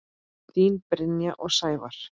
Þín Brynja og Sævar.